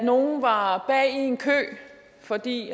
nogle var bag i en kø fordi